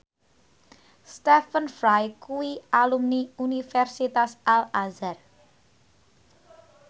Stephen Fry kuwi alumni Universitas Al Azhar